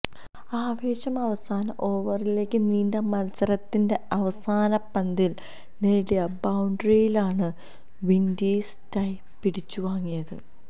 ആവേശം അവസാന ഓവറിലേക്ക് നീണ്ട മത്സരത്തിന്റെ അവസാന പന്തിൽ നേടിയ ബൌണ്ടറിയിലാണ് വിൻഡീസ് ടൈ പിടിച്ചുവാങ്ങിയത്